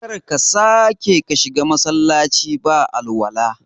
Kar ka sake ka shiga Masallaci ba alwala